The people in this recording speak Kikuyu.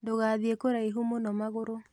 Ndũgathiĩ kũraihu mũno magũrũ